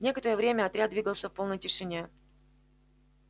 некоторое время отряд двигался в полной тишине